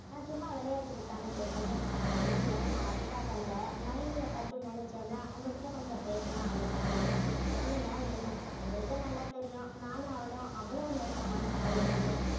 நான் சும்மா விளையாட்டுக்குத்தானே பேசினேன் இல்லைங்க நான் அதுக்காக அல்ல நைனியப் பத்தி நினைச்சேன்னா உங்க கிட்ட கொஞ்சம் பேசணும் அவளைப் பத்தி சொல்லுங்க என்ன உங்களுக்கே நல்லா தெரியும் நானும் அவளும் அவ்வளவு நெருக்கமான தோழிங்கன்னு